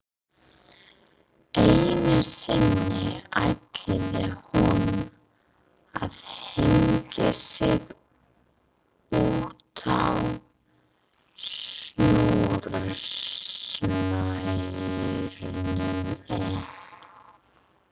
Einu sinni ætlaði hún að hengja sig útá snúrustaurnum en